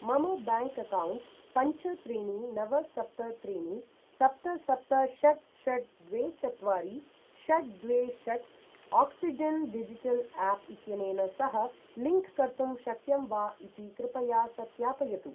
मम bank account पञ्च त्रीणि नव सप्त त्रीणि सप्त सप्त षट् षट् द्वे चत्वारि षट् द्वे षट् आक्सिजेन् डिजिटल् आप् इत्यनेन सह लिंक् कर्तुं शक्यं वा इति कृपया सत्यापयतु ।